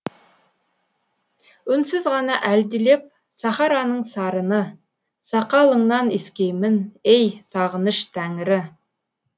үнсіз ғана әлдилеп сахараның сарыны сақалыңнан искеймін ей сағыныш тәңірі